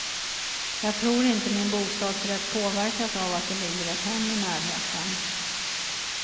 Jag tror inte min bostadsrätt påverkats av att det ligger ett hem i närheten.